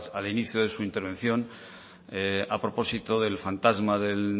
al inicio de su intervención a propósito del fantasma del